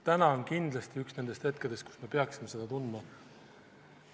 Täna on kindlasti üks nendest hetkedest, kui me peaksime seda tundma.